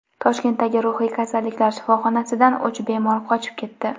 Toshkentdagi ruhiy kasalliklar shifoxonasidan uch bemor qochib ketdi.